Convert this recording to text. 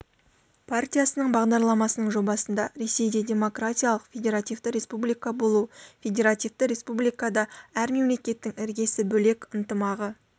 партиясының бағдарламасының жобасында ресейде демократиялық федеративті республика болу федеративті республикада әр мемлекеттің іргесі бөлек ынтымағы